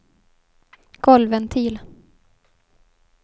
golvventil